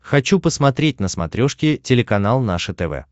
хочу посмотреть на смотрешке телеканал наше тв